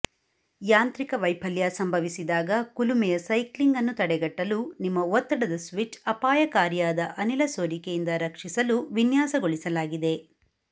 ಯಾಂತ್ರಿಕ ವೈಫಲ್ಯ ಸಂಭವಿಸಿದಾಗ ಕುಲುಮೆಯ ಸೈಕ್ಲಿಂಗ್ ಅನ್ನು ತಡೆಗಟ್ಟಲು ನಿಮ್ಮ ಒತ್ತಡದ ಸ್ವಿಚ್ ಅಪಾಯಕಾರಿಯಾದ ಅನಿಲ ಸೋರಿಕೆಯಿಂದ ರಕ್ಷಿಸಲು ವಿನ್ಯಾಸಗೊಳಿಸಲಾಗಿದೆ